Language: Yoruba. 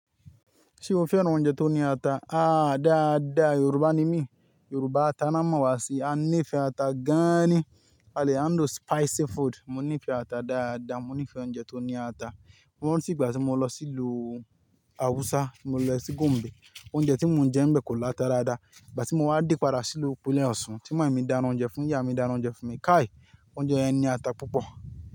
Ṣé o fẹ́ran oúnjẹ tó ní ata? Ah dáadáa, Yorùbá ni mí. Yorùbá ata ná mọ̀wà sí, a nífẹ̀ẹ́ ata gáànì. Alè handle spicy food. Mo nífẹ̀ẹ́ ata dáadáa, mo nífẹ̀ẹ́ oúnjẹ tó ní ata. Mọ́ nígbà tí mo lọ sí ìlú Hausa, mo lọ sí Gombe, oúnjẹ tí mo jẹ́ ńbẹ̀ kò lọ ata dáadáa. Ìgbà tí mo wá dípàrá sílù ìpínlẹ̀ Ọ̀ṣun, Ti mami mi dáná oúnjẹ fún yá, mi dáná oúnjẹ fún mi. Kai, oúnjẹ yẹn ní ata púpọ̀